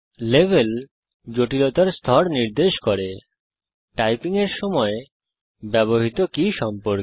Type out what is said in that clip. level জটিলতার স্তর নির্দেশ করে টাইপিং এর সময় ব্যবহৃত কি সম্পর্কে